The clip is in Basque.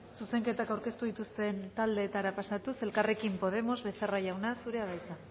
zuzenketak aurkeztu dituzten taldeetara pasatuz elkarrekin podemos becerra jauna zurea da hitza